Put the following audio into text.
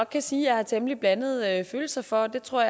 kan sige jeg har temmelig blandede følelser for det tror